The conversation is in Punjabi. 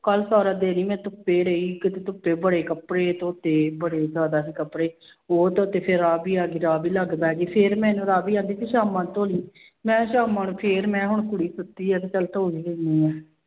ਕੱਲ੍ਹ ਸਾਰਾ ਦਿਨ ਹੀ ਮੈਂ ਧੁੱਪੇ ਰਹੀ, ਕਿਤੇ ਧੁੱਪੇ ਬੜੇ ਕੱਪੜੇ ਧੋਤੇ ਬੜੇ ਜ਼ਿਆਦਾ ਸੀ ਕੱਪੜੇ, ਉਹ ਧੋਤੇ ਫਿਰ ਆਪ ਹੀ ਫਿਰ ਰਾਵੀ ਆ ਗਈ, ਰਾਵੀ ਲਾਗੇ ਬਹਿ ਗਈ, ਫਿਰ ਮੈਨੂੰ ਰਾਵੀ ਕਹਿੰਦੀ ਵੀ ਸ਼ਾਮਾਂ ਨੂੰ ਧੋ ਲਈ, ਮੈਂ ਸ਼ਾਮਾ ਨੂੰ ਫਿਰ ਮੈਂ ਹੁਣ ਤੁਰੀ ਫਿਰਦੀ ਹੈ ਤੇ ਚੱਲ ਧੋ ਹੀ ਦਿੰਦੀ ਹਾਂ।